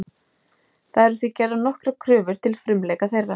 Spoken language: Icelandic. Það eru því gerðar nokkrar kröfur til frumleika þeirra.